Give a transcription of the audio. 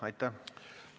Aitäh!